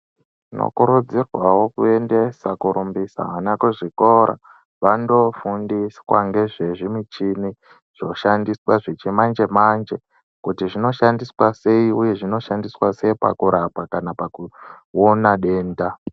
Tinokurudzirwawo kuendesa kurumbisa ana kuzvikora vandofundiswa ngezvezvimichini zvoshandiswa zvechimanje-manje kuti zvinoshandiswa sei uye zvinoshandiswa sei pakurapa kana pakuona denda.